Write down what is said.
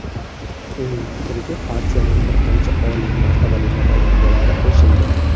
Uning fikriga partiyaning bir qancha oliy martabali namoyandalari qo‘shildi.